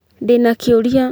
Ndĩ na kĩũria